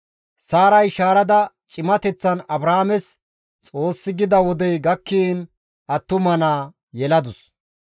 Saaray shaarada cimateththan Abrahaames Xoossi gida wodey gakkiin attuma naa yeladus.